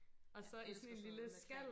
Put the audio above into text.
Jeg elsker sådan noget med creme